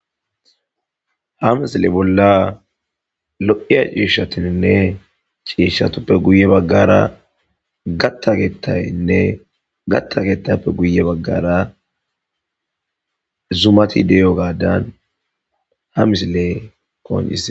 Ha misile bolla lo'iya ciishshatininne ciishshatuppe guye baggara gatta geettaynne gatta getappe guye baggara zumati deyo gaadan ha misile qonccisees.